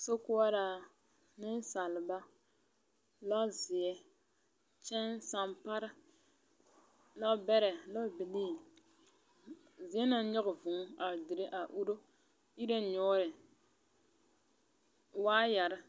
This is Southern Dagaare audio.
Sokɔɔraa, neŋsaliba, lɔzeɛ, kyɛŋsampara, lɔbɛrɛ, lɔbilii, zie naŋ nyoge vʋʋ a dire a uro nyoore waayarre.